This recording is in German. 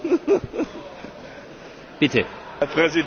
Herr Präsident, Kolleginnen und Kollegen!